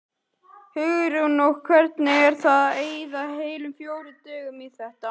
Hugrún: Og hvernig er það að eyða heilum fjórum dögum í þetta?